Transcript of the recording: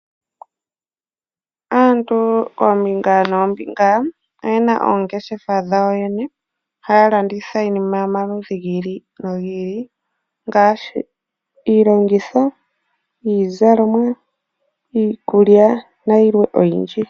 Aantu koombinga noombinga oyena oongeshefa dhawo yoyene haya landitha iinima yomaludhi gi ili nogi ili ngaashi iilongitho, iizalomwa, iikulya nayilwe oyindji.